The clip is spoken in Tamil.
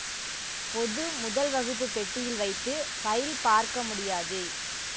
பொது முதல் வகுப்பு பெட்டியில் வைத்து ஃபைல் பார்க்க முடியாது